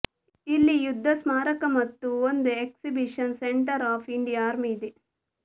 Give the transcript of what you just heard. ಇಲ್ಲಿ ಯುದ್ಧ ಸ್ಮಾರಕ ಮತ್ತು ಒಂದು exhibition centre of India army ಇದೆ